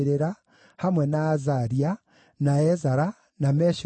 hamwe na Azaria, na Ezara, na Meshulamu,